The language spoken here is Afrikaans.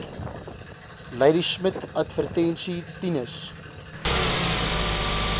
ladismith adv tinus